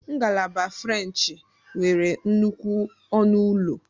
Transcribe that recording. Ngalaba frenchị nwere nnukwu ọnụ ụlọ.